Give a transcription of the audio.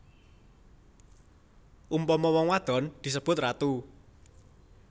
Umpama wong wadon disebut ratu